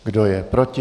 Kdo je proti?